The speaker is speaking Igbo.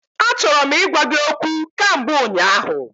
Achọrọ m ịgwa gị okwu kamgbe ụnyaahụ.